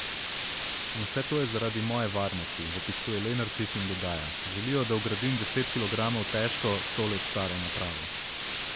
In vse to je zaradi moje varnosti,'' opisuje Lenarčič in dodaja: ''Želijo, da vgradim deset kilogramov težko, sto let staro napravo.